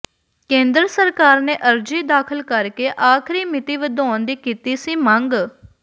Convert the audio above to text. ਕੇਂਦਰ ਸਰਕਾਰ ਨੇ ਅਰਜ਼ੀ ਦਾਖ਼ਲ ਕਰਕੇ ਆਖ਼ਰੀ ਮਿਤੀ ਵਧਾਉਣ ਦੀ ਕੀਤੀ ਸੀ ਮੰਗ